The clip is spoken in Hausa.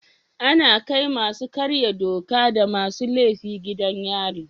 Ana kai masu karya doka da masu laifi gidan yari.